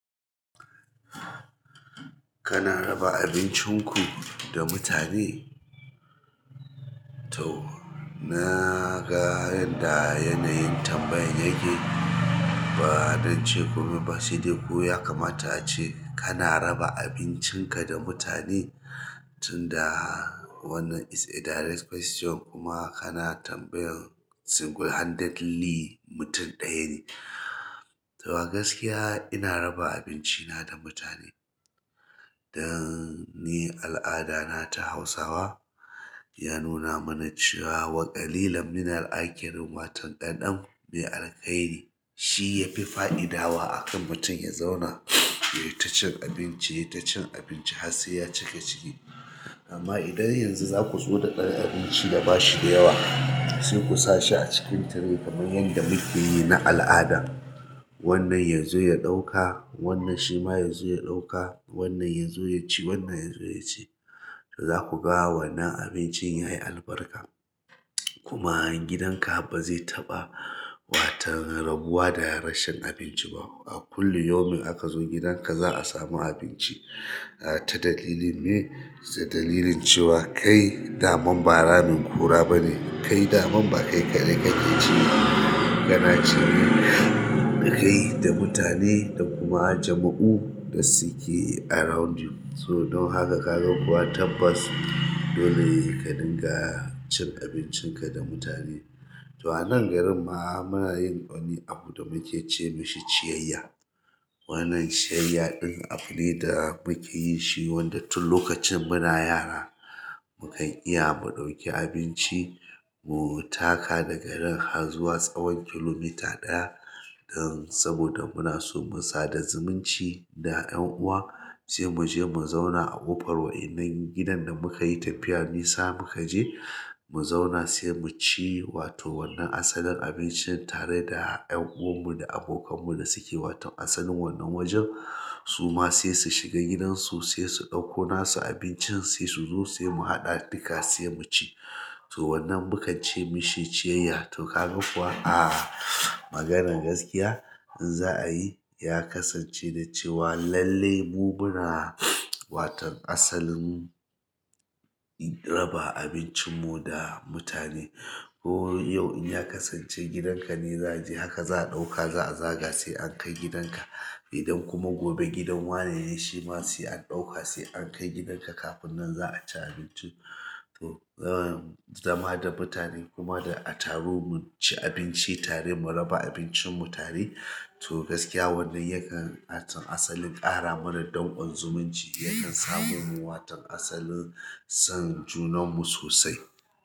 Kana raba abincin ku da mutane? To na ga yadda yanayin tambayan yake, ba don ce komai ba saidai ko ya kamata ace kana raba abincinka da mutane tun da wannan it's a direct question kuma kana tambayan single handedly mutum ɗaya ne. To ga gaskiya ina raba abinci na da mutane dan ni al'ada na ta Hausawa. Ya nuna mana cewa wakalilan minal'akirin watan ɗanɗan ku mai alkairi. Shi yafi fa'idawa a kan mutum ya zauna ya yi ta cin abinci, ya yi ta cin abinci har sai ya cika ciki. Amma idan yanzu za ku zo da ɗan abinci da ba shi da yawa sai ku sa shi a cikin tire kamar yadda muke yi na al'ada. Wannan yanzu ya ɗauka, wannan shi ma yanzu ya ɗauka, wannan yanzu ya ci, wannan yanzu ya ci. To za ku ga wannan abincin yayi albarka kuma gidan ka ba zai taɓa watan rabuwa da rashin abinci ba. A kullum yomin aka zo gidan ka za a samu abinci ah ta dalilin me? Ta dalilin cewa kai daman ba ramin ƙura bane, kai daman ba kai kaɗai kake ceba. Kana cine dakai da mutane da kuma jama'u da suke around you. So don haka ka ga kuwa tabbas dole ka dinga cin abincin ka da mutane. To a nan garin ma muna yin wani abu da muke ce mai shi ciyayya. Wannan ciyayya ɗin abu ne da muke yi shi wanda tun lokacin muna yara mu kan iya mu ɗauki abinci. Mu taka daga nan har zuwa tsawon kilomita ɗaya. Dan saboda muna so mu sada zumunci da ƴan uwa sai mu je mu zauna a ƙofar waƴannan gidan da muka yi tafiya nisa muka je. Mu zauna sai mu ci wato wannan asalin abincin tare da ƴan'uwan mu da abokan mu da suke. Watan asalin wannan wajen su ma sai su shiga gidan su sai su ɗauko nasu abincin sai su zo sai mu haɗa duka sai mu ci. To wannan mukan ce mishi ciyayya. To ka ga kuwa a maganar gaskiya in za'a yi ya kasance da cewa lallai mu muna. Watan asalin raba abincin mu da mutane. Ko yau in ya kasance gidan ka ne zai je haka za'a ɗauka za'a zaga sai an kai gidan ka. Idan kuma gobe gidan wana ne shi ma sai an ɗauka sai an kai gidan ka. Kafin nan za'a ci abinci to eh zama da mutane kuma da'a taru mu ci abinci tare mu raba abincin mu tare. To gaskiya wannan yakan asalin ƙara mana don ƙon zumunci yakan samu mu watan asalin son junan mu sosai.